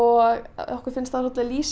okkur finnst það lýsa